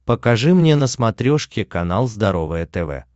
покажи мне на смотрешке канал здоровое тв